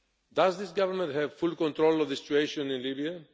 Does this government have full control of the situation in Libya?